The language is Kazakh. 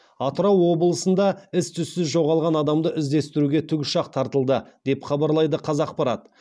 атырау облысында із түзсіз жоғалған адамды іздестіруге тікұшақ тартылды деп хабарлайды қазақпарат